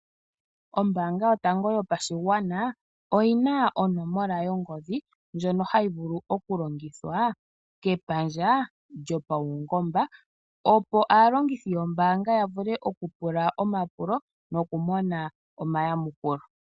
Ombaanga yotango yopashigwana oyina onomola yongodhi ndjono hayi vulu okulongithwa kepandja lyopawungomba opo aalongithi yombaanga yavule okupula omapulo nokumona omayamukulo.